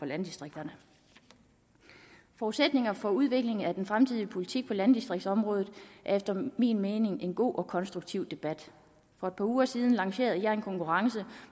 landdistrikterne forudsætningerne for udvikling af den fremtidige politik på landdistriktsområdet er efter min mening en god og konstruktiv debat for at par uger siden lancerede jeg en konkurrence